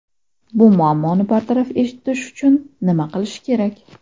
Bu muammoni bartaraf etish uchun nima qilish kerak?